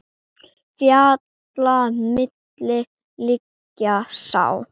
Fjalla milli liggja sá.